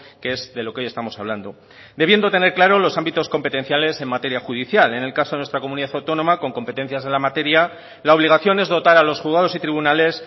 que es de lo que hoy estamos hablando debiendo tener claro los ámbitos competenciales en materia judicial en el caso de nuestra comunidad autónoma con competencias de la materia la obligación es dotar a los juzgados y tribunales